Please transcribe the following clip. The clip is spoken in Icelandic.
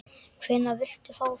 Hvenær viltu fá þau?